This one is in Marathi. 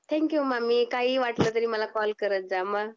थँकयु मामी काही वाटलं तरी मला कॉल करत जा